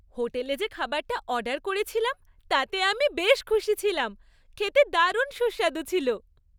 হোটেলে যে খাবারটা অর্ডার করেছিলাম তাতে আমি বেশ খুশি ছিলাম। খেতে দারুণ সুস্বাদু ছিল।